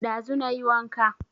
Ɗazu na yi wanka